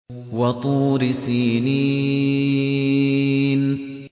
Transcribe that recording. وَطُورِ سِينِينَ